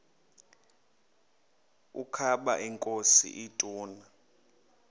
ukaba inkosi ituna